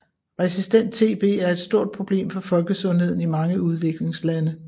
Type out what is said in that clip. Resistent TB er et stort problem for folkesundheden i mange udviklingslande